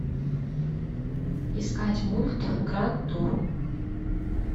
искать мульт гранд тур